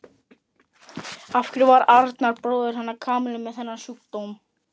Af hverju var Arnar bróðir hennar Kamillu með þennan sjúkdóm?